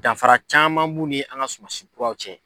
Danfara caman b'u ni an ka sumansi kuraw cɛ.